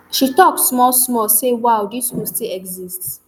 she tok smallsmall say wow dis school still exist